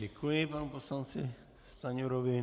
Děkuji panu poslanci Stanjurovi.